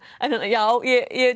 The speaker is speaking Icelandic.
já ég